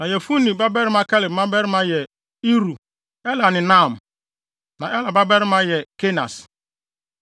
Na Yefune babarima Kaleb mmabarima yɛ Iru, Ela ne Naam. Na Ela babarima yɛ Kenas.